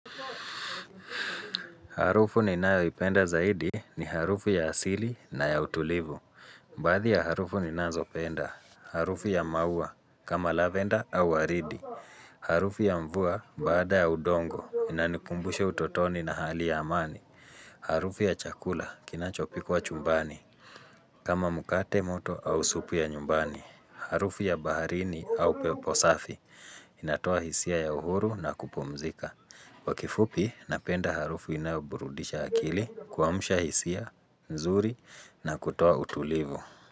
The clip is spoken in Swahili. Harufu ni nayo ipenda zaidi ni harufu ya asili na ya utulivu. Baadhi ya harufu ni nazo penda. Harufu ya maua kama lavenda au waridi. Harufu ya mvua baada ya udongo inanikumbusha utotoni na hali ya amani. Harufu ya chakula kinachopikwa chumbani. Kama mkate moto au supu ya nyumbani. Harufu ya baharini au peposafi inatoa hisia ya uhuru na kupumzika. Kwa kifupi napenda harufu inayoburudisha akili kuamsha hisia, nzuri na kutoa utulivu.